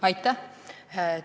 Aitäh!